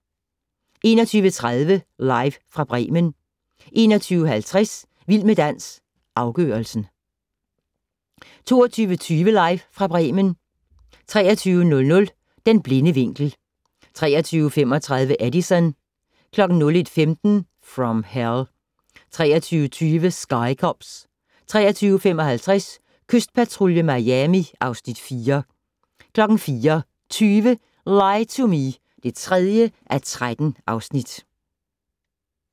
21:30: Live fra Bremen 21:50: Vild med dans - afgørelsen 22:20: Live fra Bremen 23:00: Den blinde vinkel 23:35: Edison 01:15: From Hell 03:20: Sky Cops 03:55: Kystpatrulje Miami (Afs. 4) 04:20: Lie to Me (3:13)